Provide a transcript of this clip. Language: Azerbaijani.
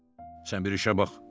Sən bir işə bax!